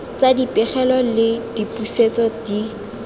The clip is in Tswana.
tsa dipegelo le dipusetso di